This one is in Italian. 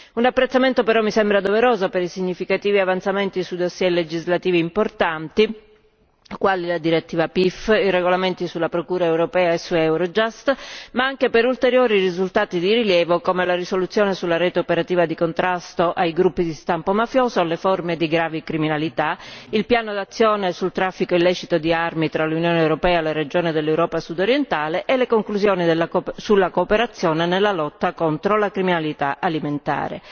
Un apprezzamento però mi sembra doveroso per i significativi avanzamenti sui dossier legislativi importanti quali la direttiva PIF, i regolamenti sulla procura europea e su Eurojust, ma anche per ulteriori risultati di rilievo come la risoluzione sulla rete operativa di contrasto ai gruppi di stampo mafioso, alle forme di gravi criminalità, il piano d'azione sul traffico illecito di armi tra l'Unione europea e le regioni dell'Europa Sudorientale e le conclusioni sulla cooperazione nella lotta contro la criminalità alimentare.